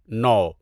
نو